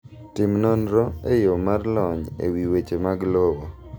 Tim nonro e yoo mar lony e wi weche mag lowo.